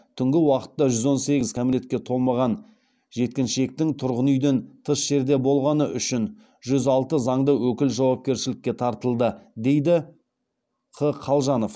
түнгі уақытта жүз он сегіз кәмелетке толмаған жеткіншектің тұрғын үйден тыс жерде болғаны үшін жүз алты заңды өкіл жауапкершілікке тартылды дейді қ қалжанов